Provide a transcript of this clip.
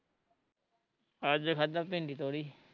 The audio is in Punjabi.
ਅੱਜ ਖਾਧਾ ਭਿੰਡੀ ਤੋਰੀ